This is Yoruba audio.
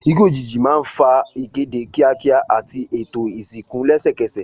Ikú òjijì máa ń fa ìkéde kíákíá àti ètò ìsìnkú lẹ́sẹ̀kẹsẹ̀.